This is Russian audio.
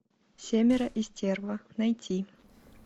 семеро и стерва найти